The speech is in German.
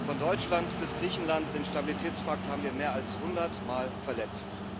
Von Deutschland bis Griechenland den Stabilitätspakt haben wir mehr als 100 mal verletzt.